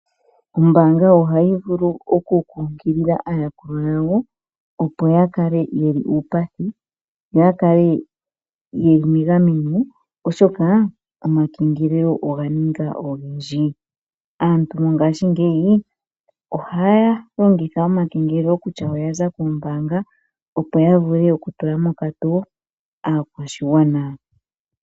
Ombaanga ohayi vulu okunkukilila aayakulwa yawo, opo ya kale yeli uupathi yo yakale yeli megameno oshoka omajengelelo oga ninga ogendji. Aantu mongashingeyi ohaya longitha omakengelelo kutya oyaza kombaanga, opo ya tula mokatoo aakwashigwana.